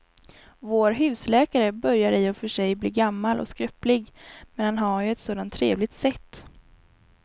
Vår husläkare börjar i och för sig bli gammal och skröplig, men han har ju ett sådant trevligt sätt!